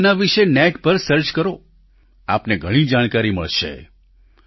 તમે તેના વિશે નેટ પર સર્ચ કરો આપને ઘણી જાણકારી મળશે